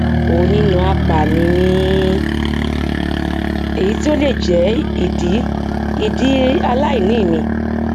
onínàáàpà ni mí èyí tí ó lè jẹ ìdí ìdí aláìní mi